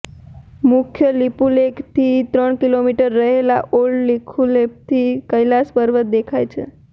મુખ્ય લિપુલેખથી ત્રણ કિલોમીટર પહેલા ઓલ્ડ લિપુલેખથી કૈલાસ પર્વત દેખાય છે